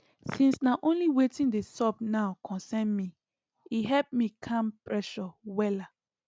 since na only watin dey sup now concern me e help me calm pressure wella